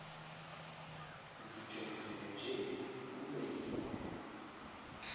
ndijongile nje uyoyikwa